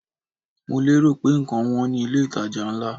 Mo lérò pé ǹkan wọn ní ilé ìtajà ńlá.